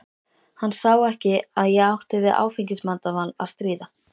Hann sá ekki að ég átti við áfengisvandamál að stríða.